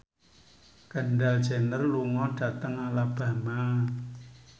Kendall Jenner lunga dhateng Alabama